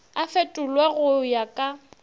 a fetolwe go ya ka